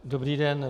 Dobrý den.